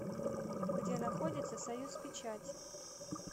где находится союзпечать